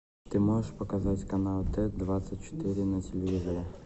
ты можешь показать канал т двадцать четыре на телевизоре